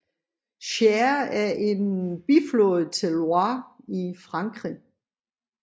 Cher er en biflod til Loire i Frankrig